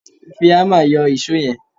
Fi ámà yọ ìṣó yẹn